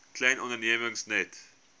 klein ondernemings net